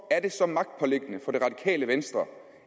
er det venstre